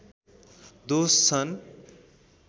दोष छन्